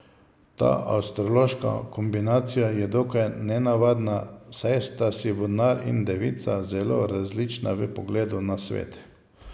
Ta astrološka kombinacija je dokaj nenavadna, saj sta si vodnar in devica zelo različna v pogledu na svet.